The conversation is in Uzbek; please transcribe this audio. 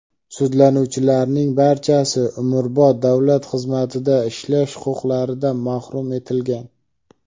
Sudlanuvchilarning barchasi umrbod davlat xizmatida ishlash huquqidan mahrum etilgan.